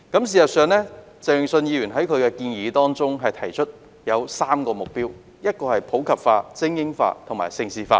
事實上，鄭泳舜議員在其建議中提出3個目標，分別為普及化、精英化和盛事化。